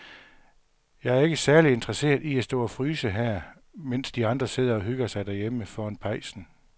Jeg er ikke særlig interesseret i at stå og fryse her, mens de andre sidder og hygger sig derhjemme foran pejsen.